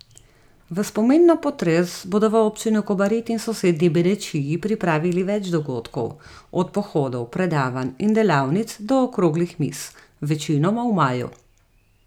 V spomin na potres bodo v občini Kobarid in sosednji Benečiji pripravili več dogodkov, od pohodov, predavanj in delavnic do okroglih miz, večinoma v maju.